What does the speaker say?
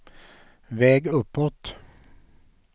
väg uppåt